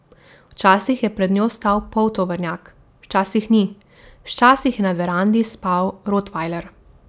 Včasih je pred njo stal poltovornjak, včasih ni, včasih je na verandi spal rotvajler.